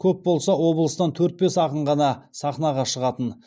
көп болса облыстан төрт бес ақын ғана сахнаға шығатын